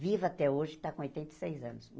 Viva até hoje, está com oitenta e seis anos.